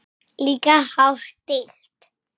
Líka hátt stillt.